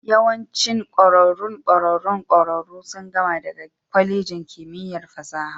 Yawancin ƙwararrun ƙwararrun ƙwararru sun gama daga kwalejin kimiyyar fasaha